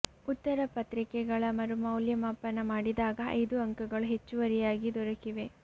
ಉತ್ತರ ಪತ್ರಿಕೆಗಳ ಮರು ಮೌಲ್ಯಮಾಪನ ಮಾಡಿದಾಗ ಐದು ಅಂಕಗಳು ಹೆಚ್ಚುವರಿಯಾಗಿ ದೊರಕಿವೆ